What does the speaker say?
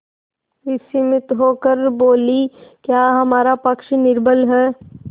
विस्मित होकर बोलीक्या हमारा पक्ष निर्बल है